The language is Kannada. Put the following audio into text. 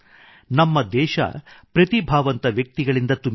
ನಮ್ಮ ದೇಶ ಪ್ರತಿಭಾವಂತ ವ್ಯಕ್ತಿಗಳಿಂದ ತುಂಬಿದೆ